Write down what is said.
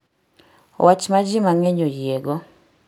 wach ma ji mang'eny oyiego